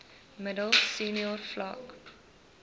middel senior vlak